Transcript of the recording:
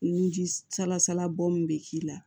Ni ji salasala bɔ min bɛ k'i la